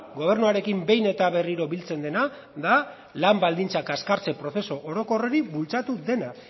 gobernuarekin behin eta berriro biltzen dena da lan baldintza kaskartze prozesu orokor hori bultzatu duena